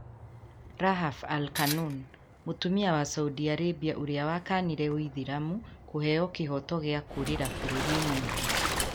Rahaf al-Qunun: Mũtumia wa Saudi Arabia ũrĩa wakanire ũithĩramu kũheeo kĩhooto gĩa kũũrĩra bũrũri ũngĩ.